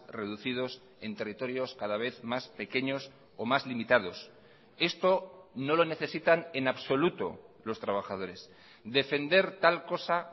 reducidos en territorios cada vez más pequeños o más limitados esto no lo necesitan en absoluto los trabajadores defender tal cosa